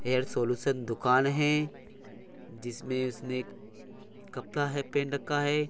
Hair solution दुकान है जिसमे उसने कपता है है।